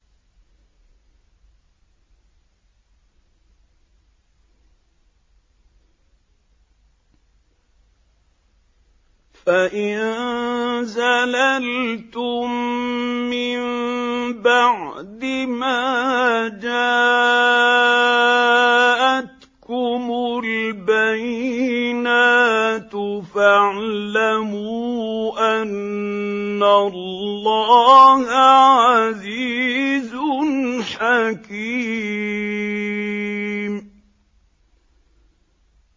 فَإِن زَلَلْتُم مِّن بَعْدِ مَا جَاءَتْكُمُ الْبَيِّنَاتُ فَاعْلَمُوا أَنَّ اللَّهَ عَزِيزٌ حَكِيمٌ